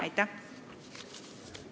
Aitäh!